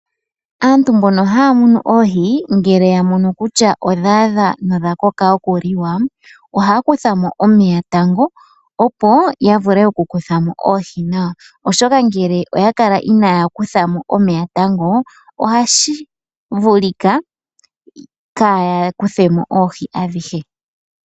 Aantu mbono haya munu oohi ngele ya mono kutya odha adha nodha koka okuliwa ohaya kuthamo omeya tango opo ya vule oku kuthamo oohi nawa ,oshoka ngele oya kala inaya kuthamo omeya tango ohashi vulika kaya kuthemo oohi adhihe.